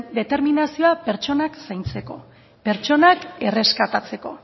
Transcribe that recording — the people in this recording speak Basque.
determinazioa pertsonak zaintzeko pertsonak erreskatatzeko